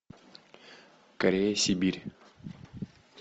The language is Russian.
корея сибирь